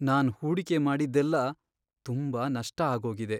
ನಾನ್ ಹೂಡಿಕೆ ಮಾಡಿದ್ದೆಲ್ಲ ತುಂಬಾ ನಷ್ಟ ಆಗೋಗಿದೆ.